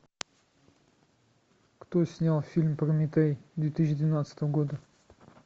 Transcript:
кто снял фильм прометей две тысячи двенадцатого года